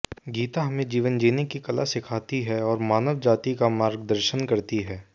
गीता हमें जीवन जीने की कला सिखाती है और मानव जाति का मार्गदर्शन करती है